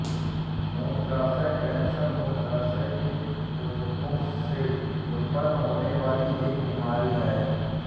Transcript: मूत्राशय कैंसर मूत्राशय के ऊतको से उतपन्न होने वाली एक बीमारी हैं